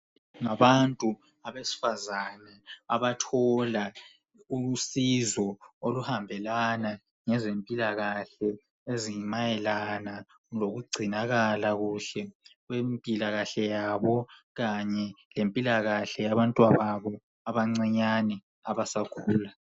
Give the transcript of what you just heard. Ngabantu abesifazane abathola usizo oluhambela ngezempilakahle ezimayelana lokugcinakala kuhle kwempilakahle yabo kanye lempilakahle yabantwababo abancinyane abasakhula.